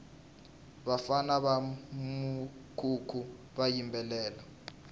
vafana va mukhukhu va yimbelela